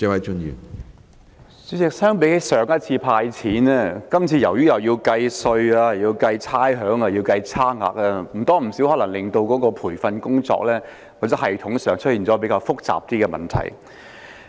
主席，與上次"派錢"比較，由於今次需要計算稅款，也要計算差餉及差額，必然會令培訓工作或系統方面出現較複雜的問題。